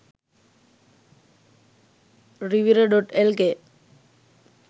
rivira.lk